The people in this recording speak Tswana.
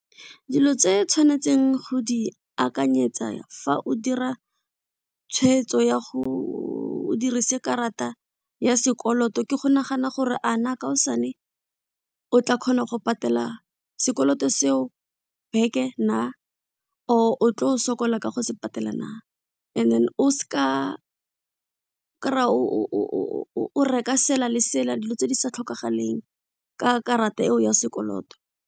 Dilo tse tshwanetseng go di akanyetsa fa o dira tshwetso ya go o dirise karata ya sekoloto ke go nagana gore a na kaosane o tla kgona go patela sekoloto se o back-e na or otlo sokola ka go se patela na and then o s'ka kry-a o reka sela le sela dilo tse di sa tlhokagaleng ka karata eo ya sekoloto.